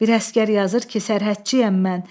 Bir əsgər yazır ki, sərhədçiyəm mən.